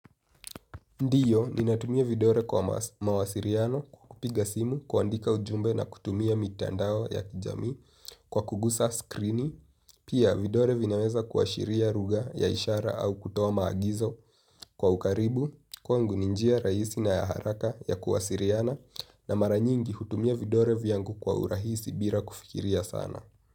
Ndiyo ninatumia vidore kwa mawasiriano kukupiga simu kuandika ujumbe na kutumia mitandao ya kijamii kwa kugusa skrini. Pia vidore vinaweza kuashiria ruga ya ishara au kutoa maagizo kwa ukaribu kwangu ni njia rahisi na ya haraka ya kuwasiriana na mara nyingi hutumia vidore vyangu kwa urahisi bira kufikiria sana.